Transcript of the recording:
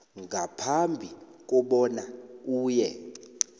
ngaphambi kobana uye